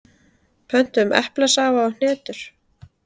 Pöntuðum eplasafa og hnetur.